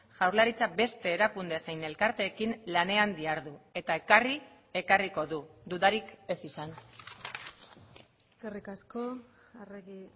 jaurlaritzak beste erakunde zein elkarteekin lanean dihardu eta ekarri ekarriko du dudarik ez izan eskerrik asko arregi